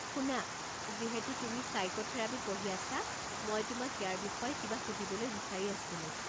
শুনা, যিহেতু তুমি চাইক'থেৰাপী পঢ়ি আছা, মই তোমাক ইয়াৰ বিষয়ে কিবা সুধিবলৈ বিচাৰি আছিলোঁ।